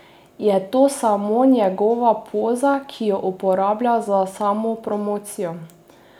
Ali bi lahko živeli brez nje?